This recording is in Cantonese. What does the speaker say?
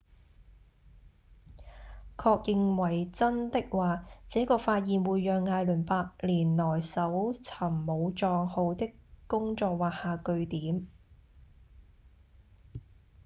確認為真的話這個發現會讓艾倫八年來搜尋武藏號的工作畫下句點